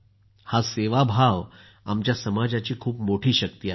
हा सेवाभाव आमच्या समाजाची खूप मोठी शक्ति आहे